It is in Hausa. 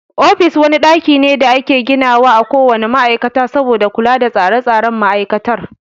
Ofis wani ɗaki ne da ake gina wa a ko wane ma'aikata saboda kula da tsare tsaren ma'aikatar.